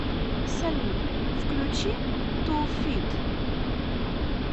салют включи ту фит